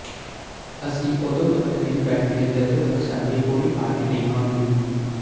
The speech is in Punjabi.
ਅਸੀਂ ਉਦੋਂ ਤੱਕ ਨਹੀਂ ਬੈਠੇ ਜਦੋਂ ਤੱਕ ਸਾਡੀ ਪੂਰੀ ਪਾਰਟੀ ਨਹੀਂ ਆਉਂਦੀ